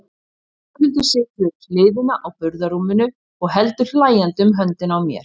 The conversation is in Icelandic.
Þórhildur situr við hliðina á burðarrúminu og heldur hlæjandi um höndina á mér.